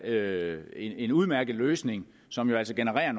det her en udmærket løsning som jo altså genererer